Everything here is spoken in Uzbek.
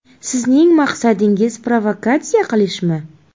Sizning maqsadingiz provokatsiya qilishmi?